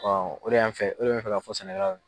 o de y'an fɛ, o de bɛ n fɛ ka fɔ sɛnɛkɛlaw ye